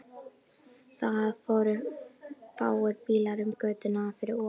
Það fóru fáir bílar um götuna fyrir ofan.